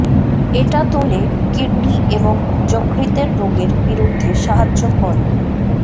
এটা তোলে কিডনি এবং যকৃতের রোগের বিরুদ্ধে সাহায্য করে